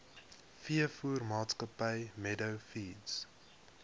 veevoermaatskappy meadow feeds